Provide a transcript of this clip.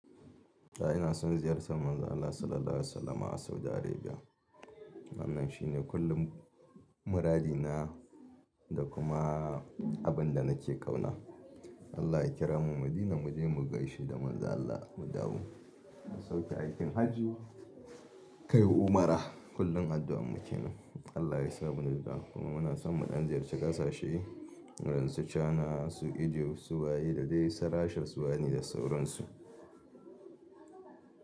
Da ina son ziyartar Manzon Allah Sallallahu Alaihi Wasallama a Saudi Arabia. Wannan shi ne kullum muradina da kuma abin da nake ƙauna. Allah ya kira mu Madina mu je mu gaishe da Manzon Allah mu dawo mu sauke aikin Hajji, kai umara. Kullum addu'an mu ke nan. Allah ya sa munnufa kuma muna son muɗan ziyarci ƙasashe irin su China, su Egypt, su waye, da dai su Russia suwane da sauransu.